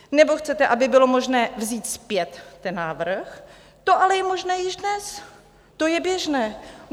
Nebo chcete, aby bylo možné vzít zpět ten návrh, to ale je možné již dnes, to je běžné.